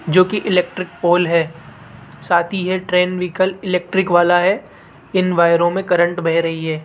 जो की electric pole है साथ ही यह ट्रेन व्हीकल इलेक्ट्रिक वाला है इन वायरो में करंट बह रही है।